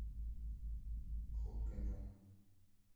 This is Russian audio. ход конем